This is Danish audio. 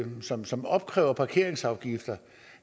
som som opkræver parkeringsafgifter